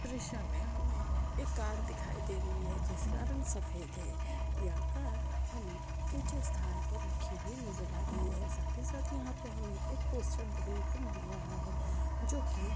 दृश्य मे हमे एक कार दिखाई दे रही है जिस का रंग सफेद है यह कार हमे उचे स्थान पर रखी हुई नजर आ रही है साथ ही साथ यहाँ पे हमे एक पोस्टर देखने को मिल रहा है जो की--